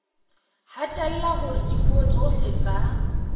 hatella hore dipuo tsohle tsa